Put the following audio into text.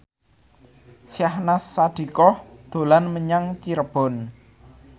Syahnaz Sadiqah dolan menyang Cirebon